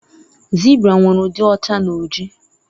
zebra nwere udi ọcha na oji